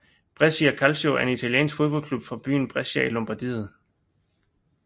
Brescia Calcio er en italiensk fodboldklub fra byen Brescia i Lombardiet